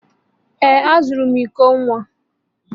Ee, azụrụ m iko nwa